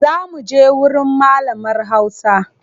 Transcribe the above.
Za muje wurin malamar hausa.